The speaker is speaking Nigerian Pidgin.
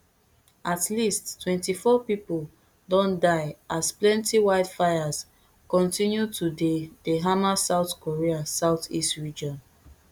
at least twenty-four pipo don die as plenti wildfires continue to dey dey hammer south korea southeast region